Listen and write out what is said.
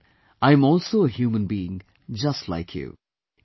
After all I am also a human being just like you